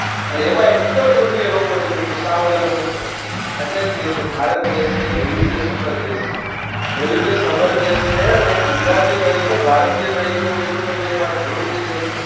અને એમાંય ઉત્તર પૂર્વીય લોકો જેની તો સાવ અલગ હોય અટલે જ કેશે કે ભારત દેશ છે એ વૈવિધ્ય સફળ દેશ છે સફળ દેશ છે અને ગુજરાતી તરીકે ભારતીય તરીકે હું મિત્રો તમને એક વાત જરૂરથી કઈશ.